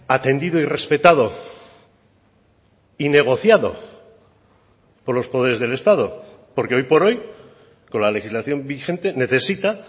atendido y respetado y negociado por los poderes del estado porque hoy por hoy con la legislación vigente necesita